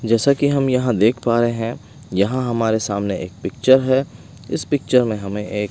जैसा कि हम यहां देख पा रहे हैं। यहां हमारे सामने एक पिक्चर है। इस पिक्चर में हमें एक--